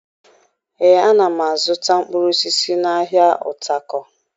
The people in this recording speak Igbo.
Ee, ana m azụta mkpụrụ osisi n'ahịa Utako